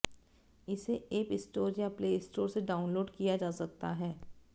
इसे app store या play store से डाउनलोड किया जा सकता है